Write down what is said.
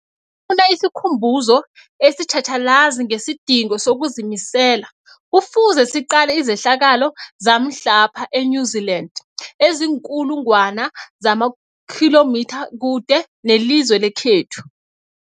funa isikhumbuzo esitjhatjhalazi ngesidingo sokuzimisela, Kufuze siqale izehlakalo zamhlapha e-New Zealand eziinkulu ngwana zamakhilomitha kude nelizwe lekhethu.